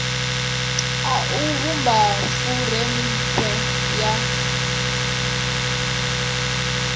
a u vhumba furemiweke ya